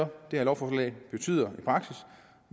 det her lovforslag betyder